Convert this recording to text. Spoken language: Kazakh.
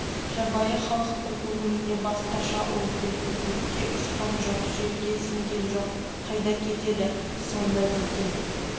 жабайы халықтың көңіліне басқаша ой келді көкке ұшқан жоқ жерге сіңген жоқ қайда кетеді сонда дейтін